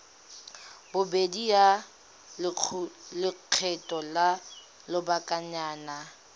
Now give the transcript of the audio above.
bobedi ya lekgetho la lobakanyana